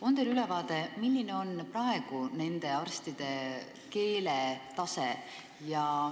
On teil ülevaade, milline on praegu nende arstide keeletase?